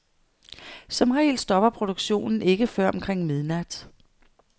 Som regel stopper produktionen ikke før omkring midnat.